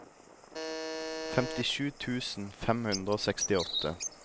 femtisju tusen fem hundre og sekstiåtte